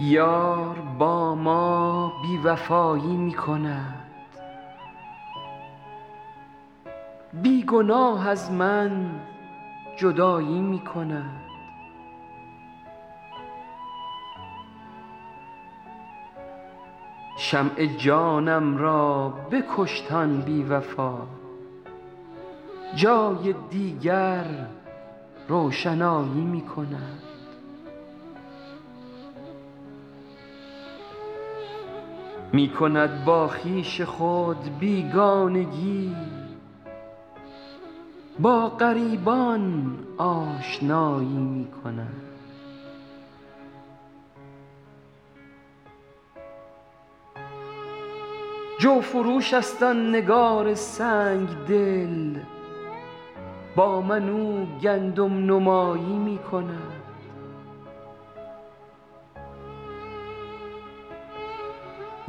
یار با ما بی وفایی می کند بی گناه از من جدایی می کند شمع جانم را بکشت آن بی وفا جای دیگر روشنایی می کند می کند با خویش خود بیگانگی با غریبان آشنایی می کند جوفروش است آن نگار سنگ دل با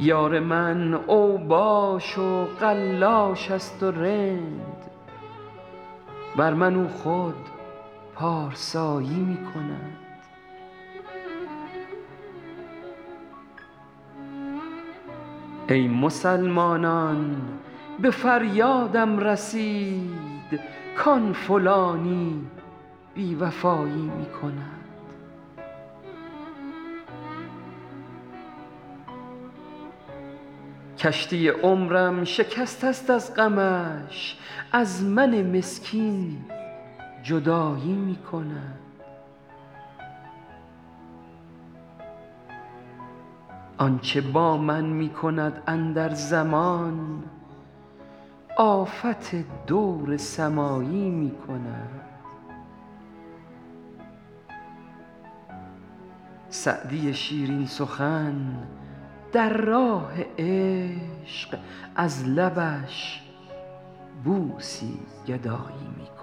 من او گندم نمایی می کند یار من اوباش و قلاش است و رند بر من او خود پارسایی می کند ای مسلمانان به فریادم رسید کآن فلانی بی وفایی می کند کشتی عمرم شکسته است از غمش از من مسکین جدایی می کند آن چه با من می کند اندر زمان آفت دور سمایی می کند سعدی شیرین سخن در راه عشق از لبش بوسی گدایی می کند